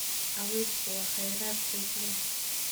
Cawsku waa kheyraad qiimo leh.